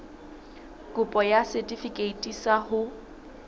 kopo ya setefikeiti sa ho